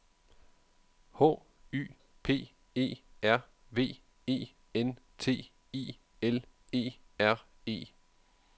H Y P E R V E N T I L E R E